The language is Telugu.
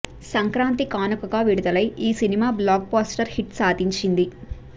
సంక్రాంతి కానుకగా విడుదలై ఈ సినిమా బ్లాక్ బస్టర్ హిట్ సాధించింది